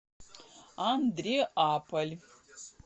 андреаполь